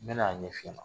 N bɛna a ɲɛf'i ɲɛna